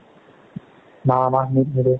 বাহ বাহ net নিদিও